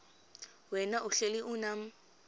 wena uhlel unam